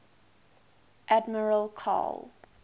admiral karl